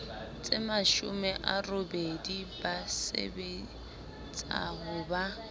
tsemashome a robedi ba sebetsahoba